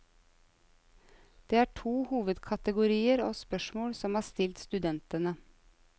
Det er to hovedkategorier av spørsmål som er stilt studentene.